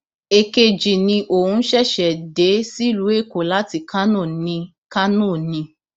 èkejì ni òun ṣẹṣẹ dé sílùú èkó láti kánò ni kánò ni